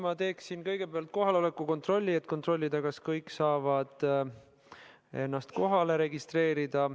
Ma teeksin kõigepealt kohaloleku kontrolli, et kontrollida, kas kõik saavad ennast kohalolijaks registreerida.